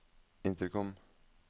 intercom